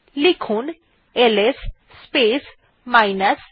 লেখা যাক LS space minus a